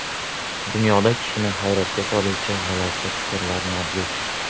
Dunyoda kishini hayratga soluvchi g‘alati faktlar mavjud.